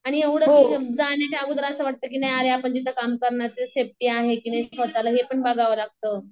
आणि एवढं अगोदर असं वाटतं की नाही अरे आपण जिथं काम करणार ये तिथं सेफ्टी आहे का नाही हे पण बघावं लागतं.